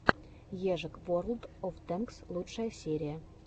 ежик ворлд оф тэнкс лучшая серия